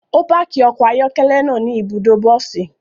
O paaki ọkọ ayọkẹlẹ naa ni ibudo bosi